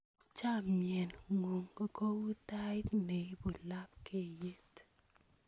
Chomye ng'ung' kou tait ne ibu lapkeyet.